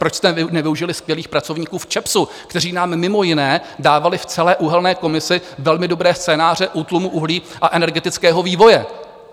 Proč jste nevyužili skvělých pracovníků v ČEPSu, kteří nám mimo jiné dávali v celé uhelné komisi velmi dobré scénáře útlumu uhlí a energetického vývoje?